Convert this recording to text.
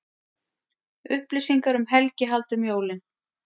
Upplýsingar um helgihald um jólin